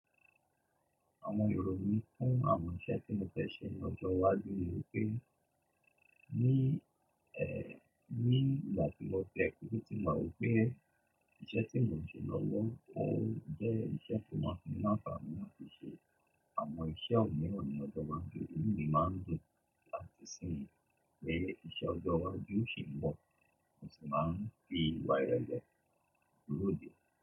Àwọn èrò mi fún àwọn iṣẹ́ tí mo fẹ́ ṣe lọ́jọ́ iwájú ni pé, ní, ẹ́, nígbà tí mo tẹ̀lé ipò tí màá gbé, iṣẹ́ tí mò ń ṣe lọ́wọ́ ó jẹ́ iṣẹ́ tó máa ń fún mi lanfaani láti ṣe. Àwọn iṣẹ́ mìíràn ni ọjọ́ máa ń ju, inú mi máa ń dùn láti ṣe èyí, pe iṣẹ́ ọjọ́ iwájú ṣì ń bọ̀, mo sì máa ń fì wá irele lódì.